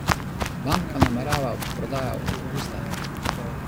Banka namerava v prodajo avgusta.